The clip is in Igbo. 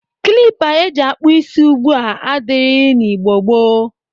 Klipa e ji akpọ isi ugbu a adịrịghị n'Igbo gboo.